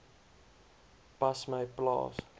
pas my plaas